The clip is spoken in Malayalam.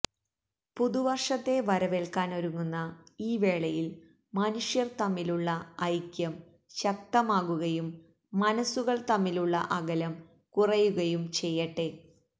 പുതുവര്ഷത്തെ വരവേല്ക്കാനൊരുങ്ങുന്ന ഈ വേളയില് മനുഷ്യര് തമ്മിലുള്ള ഐക്യം ശക്തമാകുകയും മനസ്സുകള് തമ്മിലുള്ള അകലം കുറയുകയും ചെയ്യട്ടെ